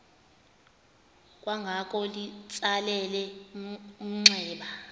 kwangoko litsalele umnxeba